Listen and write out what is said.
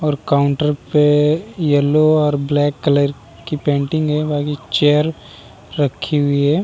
और काउंटर पे येलो और ब्लैक कलर की पेन्टिंग है बाकि चेयर रखी हुई है |